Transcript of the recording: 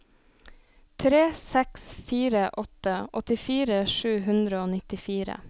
tre seks fire åtte åttifire sju hundre og nittifire